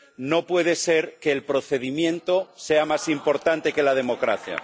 No puede ser que el procedimiento sea más importante que la democracia.